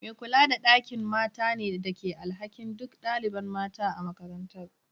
Me kula da ɗakin mata ne ke da alhakin duk ɗaliban mata a makarantar.